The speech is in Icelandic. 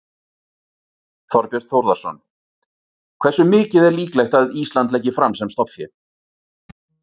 Þorbjörn Þórðarson: Hversu mikið er líklegt að Ísland leggi fram sem stofnfé?